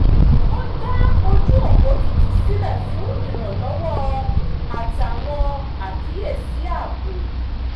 wọ́n dá ojú opo tuntun sílẹ̀ fún ìrànlọ́wọ́ àtàwọn àkíyèsí ààbò